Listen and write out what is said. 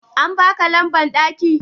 An baka lamban daki?